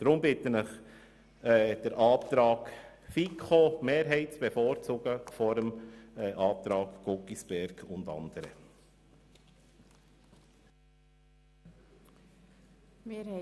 Deshalb bitte ich Sie, die Planungserklärung der FiKo-Mehrheit der Planungserklärung Guggisberg und andere vorzuziehen.